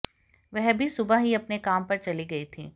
वह भी सुबह ही अपने काम पर चली गई थी